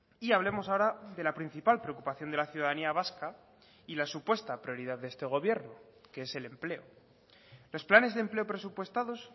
y hablemos ahora de la principal preocupación de la ciudadanía vasca y la supuesta prioridad de este gobierno que es el empleo los planes de empleo presupuestados